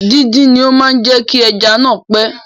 Díndín ni ó máa jẹ kí ẹja náa pẹ.